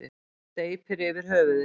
Steypir yfir höfuðið.